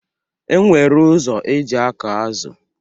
E nwere ụzọ eji akọ azụ